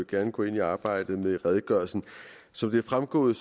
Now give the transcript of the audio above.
gerne går ind i arbejdet med redegørelsen som det er fremgået